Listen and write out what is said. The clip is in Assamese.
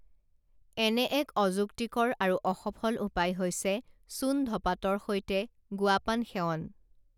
এনে এক অযুক্তিকৰ আৰু অসফল উপায় হৈছে চুণ ধপাতৰ সৈতে গুৱাপাণ সেৱন